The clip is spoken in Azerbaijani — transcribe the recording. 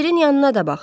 Əncirin yanına da bax.